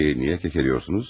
Peki niyə kəkələyirsiniz?